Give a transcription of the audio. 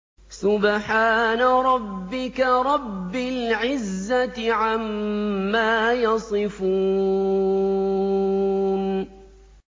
سُبْحَانَ رَبِّكَ رَبِّ الْعِزَّةِ عَمَّا يَصِفُونَ